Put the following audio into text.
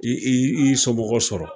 I y'i somɔgɔ sɔrɔ.